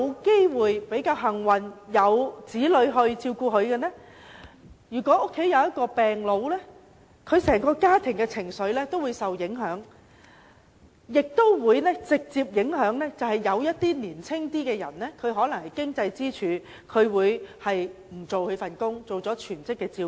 他們或許幸運地有子女照顧，但如果家有一名病老，整個家庭的情緒也會受影響，甚至直接影響較年青、是經濟支柱的家庭成員，他們要放棄工作擔當全職照顧者。